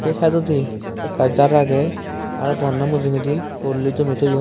saye siteoidi aka jar aagay arow doganow mujugadi horoli jomay toyon.